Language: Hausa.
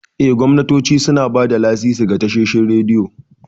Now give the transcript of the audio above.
Eh, gwamnatoci suna ba da lasisi ga tashoshin rediyo.